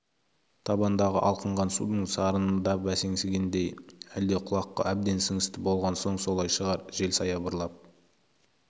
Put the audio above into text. табандағы алқынған судың сарыны да бәсеңсігендей әлде құлаққа әбден сіңісті болған соң солай шығар жел саябырлап